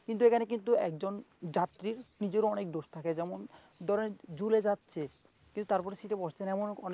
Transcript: কিন্তু এখানে কিন্তু একজন যাত্রীর নিজেরও অনেক দোষ থাকে যেমন ধরেন ঝুলে যাচ্ছে, কিন্তু তার এমন অনেক,